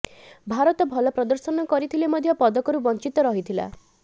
ଭାରତ ଭଲ ପ୍ରଦର୍ଶନ କରିଥିଲେ ମଧ୍ୟ ପଦକରୁ ବଞ୍ଚିତ ରହିଥିଲା